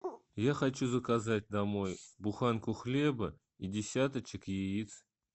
я хочу заказать домой буханку хлеба и десяточек яиц